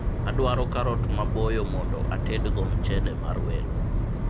adwaro karot maboyo mondo atedgo mchele mar welo